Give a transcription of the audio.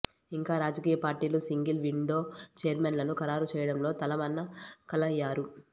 ఇంకా రాజకీయ పార్టీలు సింగిల్ విండో ఛైర్మన్లను ఖరారు చేయడంలో తలమునకలయ్యారు